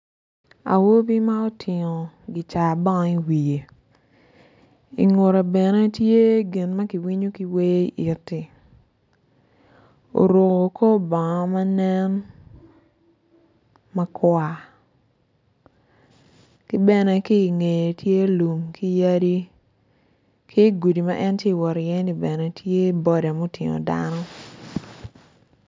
Awobi ma otingo gicaka bang i wiye, i ngute bene tye gin ma kiwinyo ki wer iti oruko kor bongo manen makwar kibene kinge tye lum ki yadi ki gudi ma en tye wotiye bene tye boda ma oting dano